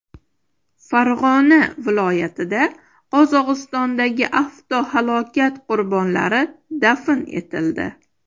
Farg‘ona viloyatida Qozog‘istondagi avtohalokat qurbonlari dafn etildi.